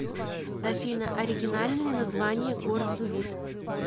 афина оригинальное название горзувит